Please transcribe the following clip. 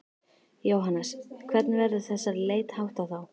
Jóhannes: Hvernig verður þessari leit háttað þá?